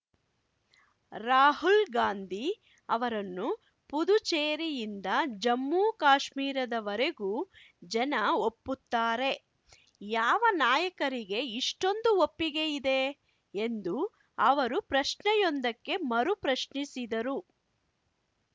ರಾಹುಲ್‌ ಗಾಂಧಿ ಅವರನ್ನು ಪುದುಚೇರಿಯಿಂದ ಜಮ್ಮುಕಾಶ್ಮೀರದ ವರೆಗೂ ಜನ ಒಪ್ಪುತ್ತಾರೆ ಯಾವ ನಾಯಕರಿಗೆ ಇಷ್ಟೊಂದು ಒಪ್ಪಿಗೆ ಇದೆ ಎಂದು ಅವರು ಪ್ರಶ್ನೆಯೊಂದಕ್ಕೆ ಮರುಪ್ರಶ್ನಿಸಿದರು